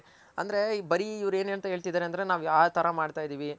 ಅಂದ್ರೆ ಬರಿ ಇವ್ರು ಏನಂತ ಹೇಳ್ತಿತಿದಾರೆ ಅಂದ್ರೆ ನಾವ್ ಯಾವ್ ತರ ಮಾಡ್ತಿದಿವಿ.